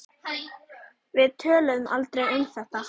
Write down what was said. Við töluðum aldrei um þetta.